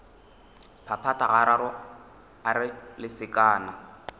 phaphatha gararo a re lesekana